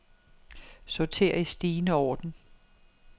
Sorter i stigende orden.